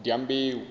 dyambeu